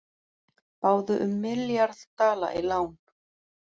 Báðu um milljarð dala í lán